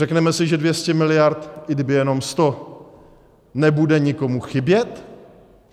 Řekněme si, že 200 miliard - i kdyby jenom 100 - nebude nikomu chybět?